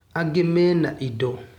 Angĩ mena indo.